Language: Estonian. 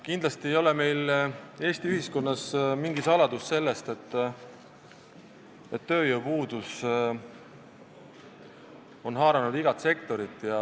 Kindlasti ei ole Eesti ühiskonnas mingi saladus, et tööjõupuudus on haaranud igat sektorit.